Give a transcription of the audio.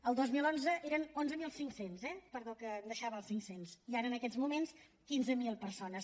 el dos mil onze eren onze mil cinc cents eh perdó que em deixava els cinc cents i ara en aquests moments quinze mil persones